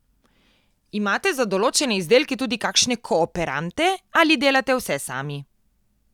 Imate za določene izdelke tudi kakšne kooperante ali delate vse sami?